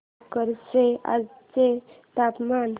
भोकर चे आजचे तापमान